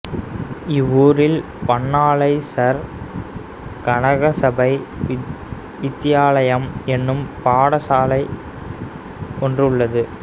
இவ்வூரில் Pannalai sir Kanagasabai Vidyalayam என்னும் பாடசாலை ஒன்று உள்ளது